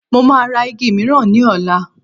Mo máa ra igi miran ní ọ̀la